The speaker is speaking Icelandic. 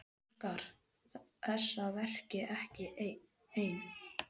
Óskar þess að vera ekki ein.